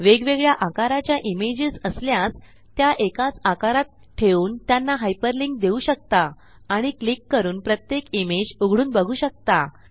वेगवेगळया आकाराच्या इमेजेस असल्यास त्या एकाच आकारात ठेवून त्यांना हायपर लिंक देऊ शकता आणि क्लिक करून प्रत्येक इमेज उघडून बघू शकता